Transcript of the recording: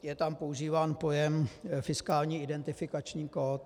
Je tam používán pojem fiskální identifikační kód.